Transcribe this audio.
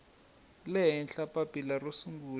le henhla papila ro sungula